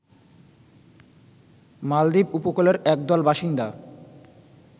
মালদ্বীপ উপকূলের একদল বাসিন্দা